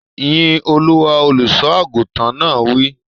Yín Olúwa! Olùsọ àgùntàn náà wí.